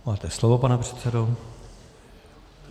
Máte slovo, pane předsedo.